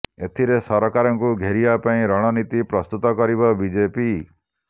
ଏଥିରେ ସରକାରଙ୍କୁ ଘେରିବା ପାଇଁ ରଣନୀତି ପ୍ରସ୍ତୁତ କରିବ ବିଜେପି